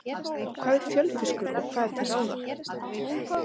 Hvað er fjörfiskur og hvað er til ráða?